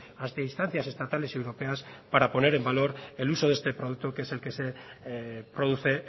hasta instancias estatales europeas para poner en valor el uso de este producto que es el que se produce